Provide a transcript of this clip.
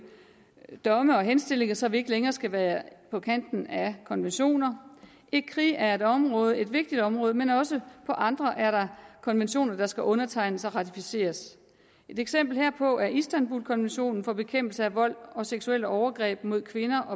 domme og henstillinger så vi ikke længere skal være på kanten af konventioner ecri er et område et vigtigt område men også på andre er der konventioner der skal undertegnes og ratificeres et eksempel herpå er istanbulkonventionen og bekæmpelse af vold og seksuelle overgreb mod kvinder